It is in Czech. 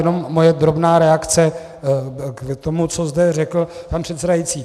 Jenom moje drobná reakce k tomu, co zde řekl pan předsedající.